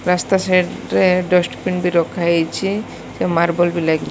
ରାସ୍ତା ସାଇଟ ରେ ଡଷ୍ଟବିନ ରଖାହେଇଚି ସେ ମାର୍ବଲ ଵି ଲାଗି --